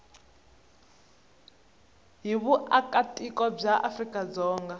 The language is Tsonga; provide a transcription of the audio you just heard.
hi vuakatiko bya afrika dzonga